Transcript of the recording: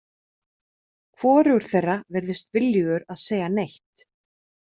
Hvorugur þeirra virtist viljugur að segja neitt.